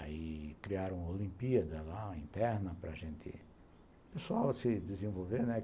Aí criaram uma Olimpíada lá, interna, para gente... O pessoal se desenvolveu, né?